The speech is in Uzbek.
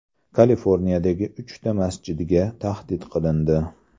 Kaliforniyadagi uchta masjidga tahdid qilindi.